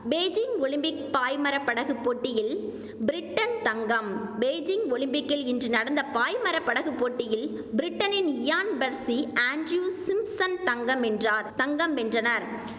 Beijing Olympic பாய்மர படகு போட்டியில் பிரிட்டன் தங்கம் பெய்ஜிங் ஒலிம்பிக்கில் இன்று நடந்த பாய்மர படகு போட்டியில் பிரிட்டனின் இயான் பெர்சி ஆன்டிரீவ் சிம்ப்சன் தங்கம் வென்றார் தங்கம் வென்றனர்